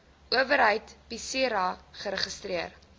owerheid psira geregistreer